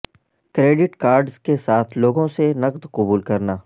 credit cards کے ساتھ لوگوں سے نقد قبول کرنا